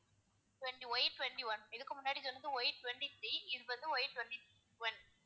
இது வந்து Y twenty-one இதுக்கு முன்னாடி சொன்னது Y twenty-three இது வந்து Y twenty-one